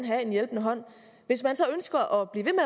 have en hjælpende hånd hvis man så ønsker at blive ved